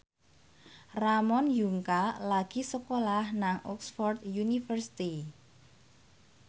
Ramon Yungka lagi sekolah nang Oxford university